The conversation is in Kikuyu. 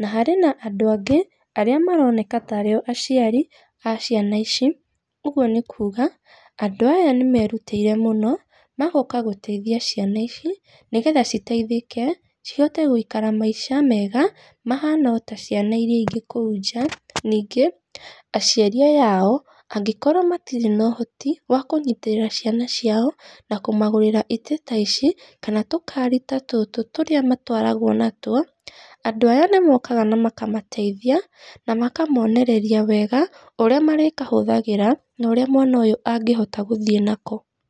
na harĩ na andũ angĩ arĩa maroneka tarĩo aciari a ciana ici, ũguo nĩ kuga andũ aya nĩ merutĩire mũno, magoka gũteithia ciana ici, nĩgetha citeithĩke, cihote gwĩikara maica mega, mahana o taciana iria ingĩ kũu nja, ningĩ aciari aya ao angĩkorwo matirĩ nohoti wa kũnyitĩrĩra ciana ciao, na kũmagũrĩra itĩ taici, kana tũkari ta tũtũ torĩa matwaragwo natuo, andũ aya nĩ mokaga na makamateithia, na makamonereria wega ũrĩa marĩkahũthagĩra, norĩa mwana ũyũ angĩhota gũthiĩ nako.